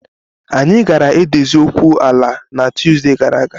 Anyị gaara edozi okwu ala a na Tuesday gara aga